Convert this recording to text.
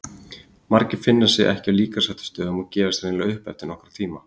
Margir finna sig ekki á líkamsræktarstöðvunum og gefast hreinlega upp eftir nokkra tíma.